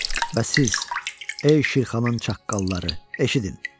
Və siz, ey Şirxanın çaqqalları, eşidin!